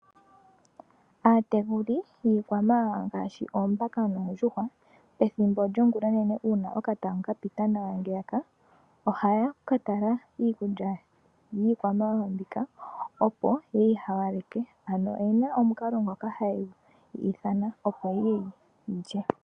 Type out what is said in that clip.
Aatekuli yiikwamawawa ngaashi oombaka noondjuhwa, ethimbo lyo ngulonene uuna okatatango ka pita nawa ngeyaka, ohaya ka tala iikulya yiikwamawawa mbika opo ye yi hawaleke, ano, oyena omukalo ngoka haye yi ithana opo yiye yilye.